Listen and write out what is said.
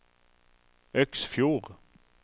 Øksfjord